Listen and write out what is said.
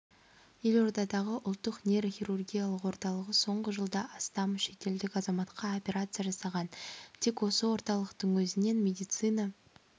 елордадағы ұлттық нейрохирургиялық орталығы соңғы жылда астам шетелдік азаматқа операция жасаған тек осы орталықтың өзінен медициналық